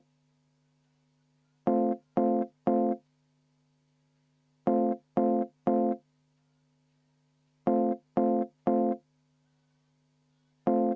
Väga üllatav ettepanek.